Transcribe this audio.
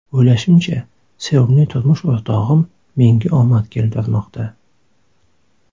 O‘ylashimcha, sevimli turmush o‘rtog‘im menga omad keltirmoqda.